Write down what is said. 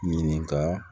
Ɲininka